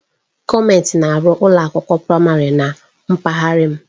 Gọọmenti na-arụ ụlọ akwụkwọ praịmarị na mpaghara m.